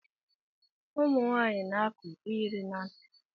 Umunwaanyi na- akụ iyeri na ntị.